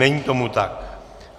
Není tomu tak.